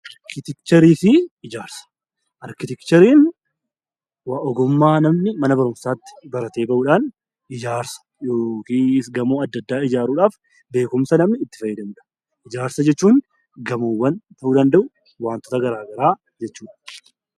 Arkiteekchariin ogummaa namni mana barumsaatti baratee bahuudhaan ijaarsa yookiin gamoo adda addaa ijaaruudhaaf beekumsa namni itti fayyadamudha. Ijaarsa jechuun gamoowwan ta'uu danda'u, waantoota garaa garaa ijaaruu jechuudha.